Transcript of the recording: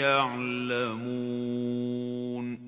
يَعْلَمُونَ